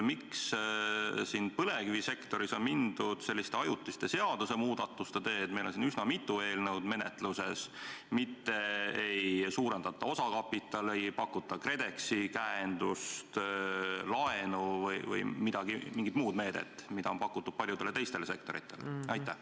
Miks on põlevkivisektoris mindud selliste ajutiste seadusmuudatuste teed – meil on siin üsna mitu eelnõu menetluses –, mitte ei suurendata osakapitali, ei pakuta KredExi käendust, laenu või mingit muud meedet, mida on pakutud paljudele teistele sektoritele?